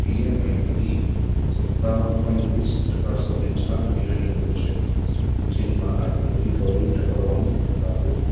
EMI હતી સતાવન point ચાર ટકા સાથે ચાર મહિનાની ટોચે છે ચીનમાં આર્થિક recovery ટકાવવાનું પડકાર્યો